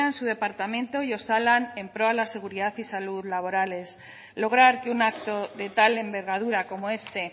su departamento y osalan en pro a la seguridad y salud laborales lograr que un acto de tal envergadura como este